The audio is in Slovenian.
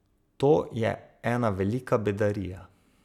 To je ena velika bedarija.